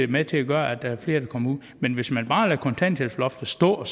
med til at gøre at der er flere der kommer ud men hvis man bare lader kontanthjælpsloftet stå og